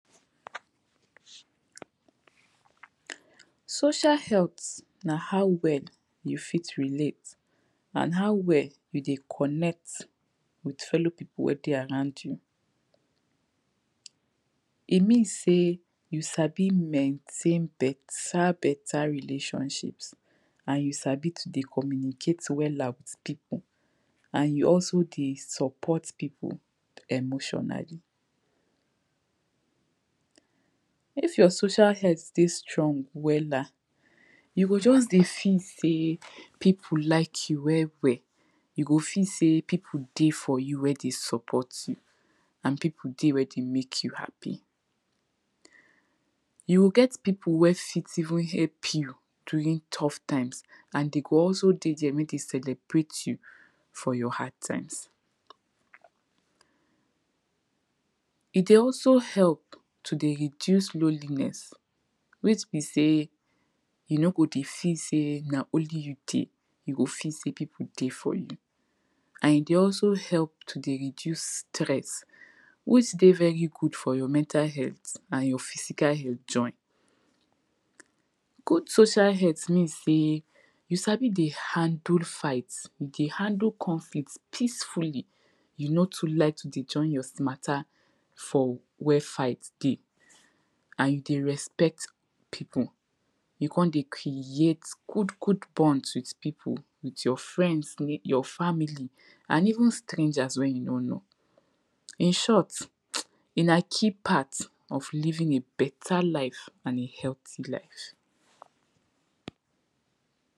social health na how well you fit relate and how well you dey connect with fellow people wey dey around you e mean say you sabi maintain beta beta relationship an ju sabi dey communicate wela with people an you also dey support people emotionally if your social helt dey strong wela you go just dey feel sey people like you well well you go feel sey people dey for you wey dey support you wey dey mek you happy you go get people wey even help jou during tough taimes and dey go also dey there make dem celebrate you for your hard taimes e dey also help to dey reduce loneliness which be say you no go dey feel sey na only you dey you go feel sey people dey for you an e dey also help to reduce stess wey dey very good for your mental health an join physical health join good social health means sey jou sabi dey handle fight jou sabi dey handle conflicts peacefully you no too liak to deyy join your mata for where fight dey an you dey respect people you come dey create good good bonds with people with your frends jour family an even strengers wey you no know in short mtwwwww na key part of living a beta life an a healthy life